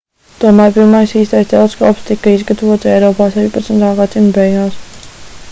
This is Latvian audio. tomēr pirmais īstais teleskops tika izgatavots eiropā 16. gadsimta beigās